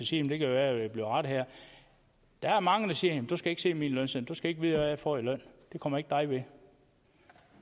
sige det kan være at jeg bliver rettet her at der er mange der siger at du skal ikke se min lønseddel du skal jeg får i løn det kommer ikke dig ved